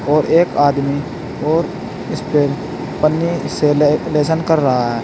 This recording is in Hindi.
और एक आदमी और इसपे पन्नी से ले लेशन कर रहा है।